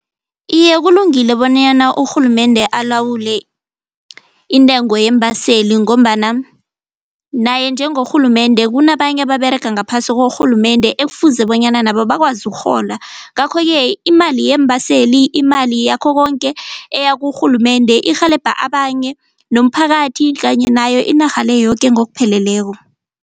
Iye, kulungile bonyana urhulumende alawule intengo yeembaseli ngombana naye njengorhulumende kunabanye ababerega ngaphasi korhulumende ekufuze bonyana nabo bakwazi ukurhola, ngakho-ke imali yeembaseli imali yakho konke eyakurhulumende irhelebha abanye nomphakathi kanye nayo inarha le yoke ngokupheleleko.